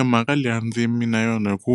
Emhaka leyi a ndzi yimi na yona hi ku